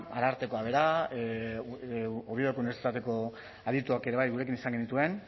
arartekoa bera oviedoko unibertsitateko adituak ere gurekin izan genituen